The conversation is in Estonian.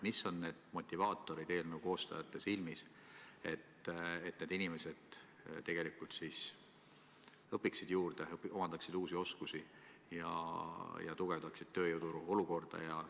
Mis on eelnõu koostajate silmis motivaatorid, et need inimesed tegelikult õpiksid juurde, omandaksid uusi oskusi ja tugevdaksid tööjõuturu olukorda?